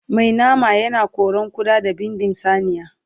Mai nama yana koran ƙuda da bindin saniya